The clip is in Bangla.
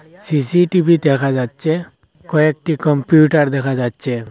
সি_সি_টি_ভি দেখা যাচ্ছে কয়েকটি কম্পিউটার দেখা যাচ্ছে।